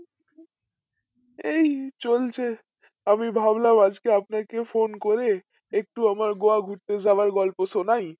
এই চলছে আমি ভাবলাম আজকে আপনাকে phone করে একটু আমার গোয়া ঘুরতে যাওয়ার গল্প শোনাই